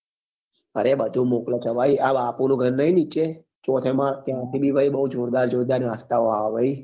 અરે બધું મોકલે છે ભાઈ આ બાપુ નું ઘર નહિ નીચે ચોથે માલ ત્યાં થી બી બઉ જોરદાર જોરદાર નાસ્તા ઓ આવે ભાઈ